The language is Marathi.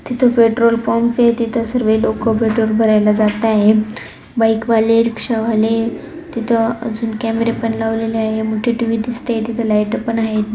तिथ पेट्रोल पंपय तिथ सर्वे लोक पेट्रोल भरायला जाताय बाइक वाले रिक्शा वाले तिथ अजून कॅमेरे पण लावलेले आहे मोठी टीव्ही दिसतेय तिथ लाइटा पण आहेत.